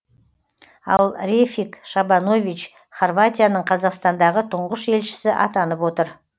ал рефик шабанович хорватияның қазақстандағы тұңғыш елшісі атанып отыр